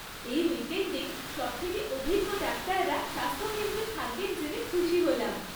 এই উইকেণ্ডে সবথেকে অভিজ্ঞ ডাক্তাররা স্বাস্থ্যকেন্দ্রে থাকবেন জেনে খুশি হলাম।